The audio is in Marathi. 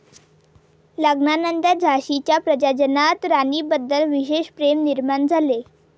लग्नानंतर झाशीच्या प्रजाजनांत राणीबद्दल विशेष प्रेम निर्माण झाले.